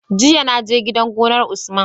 Jiya na je gidan gonar usman